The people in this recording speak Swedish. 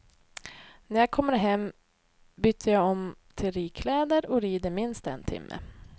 När jag kommer hem byter jag om till ridkläder och rider minst en timme.